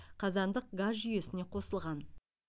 қазандық газ жүйесіне қосылған